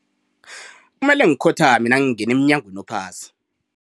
Kumele ngikhothame nangingena emnyangweni ophasi.